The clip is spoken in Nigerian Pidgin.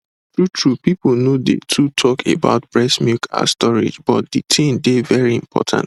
truetrue people no dey too talk about breast milk ah storage but the thing dey very important